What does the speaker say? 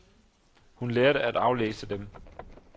Hun lærte at aflæse dem.